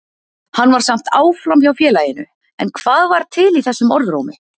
Hann var samt áfram hjá félaginu, en hvað var til í þessum orðrómi?